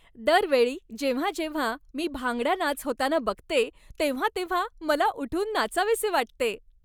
दर वेळी जेव्हा जेव्हा मी भांगडा नाच होताना बघते तेव्हा तेव्हा मला उठून नाचावेसे वाटते!